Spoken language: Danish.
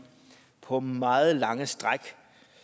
på meget lange stræk